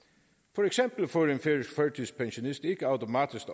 for eksempel får en færøsk førtidspensionist ikke automatisk